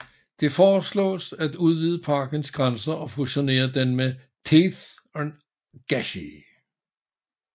Det foreslås at udvide parkens grænser og fusionere den med Theth og Gashi